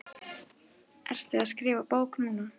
Ertu að skrifa bók núna?